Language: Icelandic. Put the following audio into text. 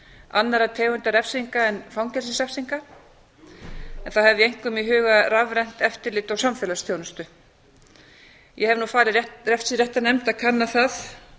annarra tegunda refsinga en fangelsisrefsinga en þá hef ég einkum í huga rafrænt eftirlit og samfélagsþjónustu ég hef nú falið refsiréttarnefnd að kanna það